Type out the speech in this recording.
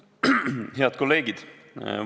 Head kolleegid!